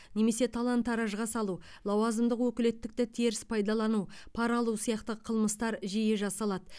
немесе талан таражға салу лауазымдық өкілеттікті теріс пайдалану пара алу сияқты қылмыстар жиі жасалады